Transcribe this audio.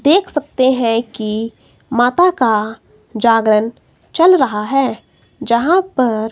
देख सकते हैं की माता का जागरण चल रहा है जहां पर--